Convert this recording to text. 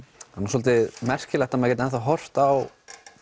það er svolítið merkilegt að maður geti horft á